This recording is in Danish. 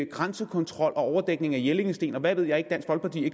grænsekontrol overdækning af jellingestenen og hvad ved jeg